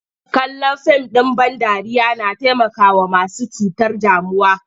Kallon fim ɗ in ban dariya na taimakawa masu cutar damuwa.